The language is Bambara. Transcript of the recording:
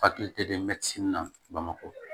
Hakili tɛ dɛ mɛtiri na bamakɔ